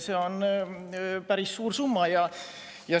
See on päris suur summa.